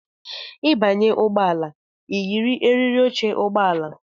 Ịbanye n' ụgbọala i yiri eriri óche ụgbọala!!!!